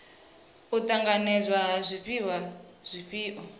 u ṱanganedzwa ha zwifhiwa zwifhio